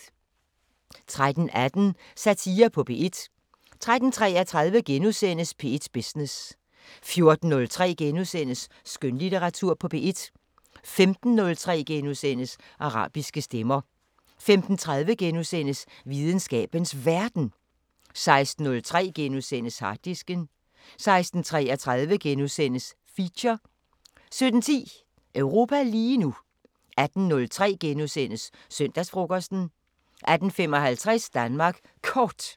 13:18: Satire på P1 13:33: P1 Business * 14:03: Skønlitteratur på P1 * 15:03: Arabiske Stemmer * 15:30: Videnskabens Verden * 16:03: Harddisken * 16:33: Feature * 17:10: Europa lige nu 18:03: Søndagsfrokosten * 18:55: Danmark Kort